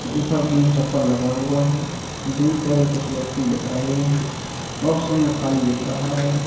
ऊपर टीन चप्पर लगा हुआ है दूर तरह कुछ व्यक्ति दिख रहे हैं बॉक्स हमें खाली दिख रहा है।